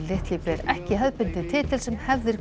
litli ber ekki hefðbundinn titill sem hefðir